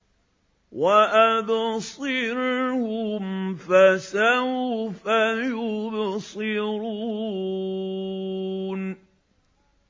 وَأَبْصِرْهُمْ فَسَوْفَ يُبْصِرُونَ